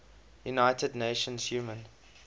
united nations human